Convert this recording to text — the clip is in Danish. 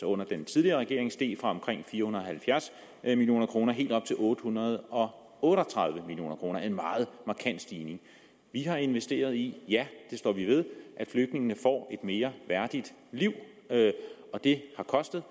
under den tidligere regering steg fra omkring til fire hundrede og halvfjerds million kroner helt op til otte hundrede og otte og tredive million kroner en meget markant stigning vi har investeret i og ja det står vi ved at flygtningene får et mere værdigt liv og det har kostet